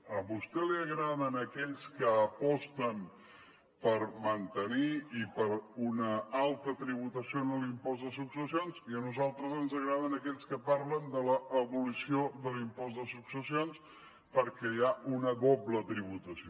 a vostè li agraden aquells que aposten per mantenir una alta tributació en l’impost de successions i a nosaltres ens agraden aquells que parlen de l’abolició de l’impost de successions perquè hi ha una doble tributació